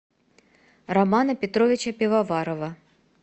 романа петровича пивоварова